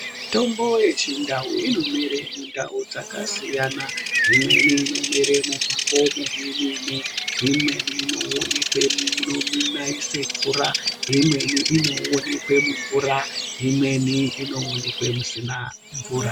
Mitombo yechindau inomere mundau dzakasiyana. Imweni inomere mumakomo memene, imweni inoonekwe munonaise mvura, imweni inoonekwe mumvura, imweni inoonekwe musina mvura.